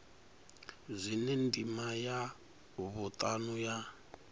zwine ndima ya vhutanu ya